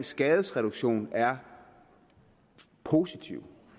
skadesreduktion er positive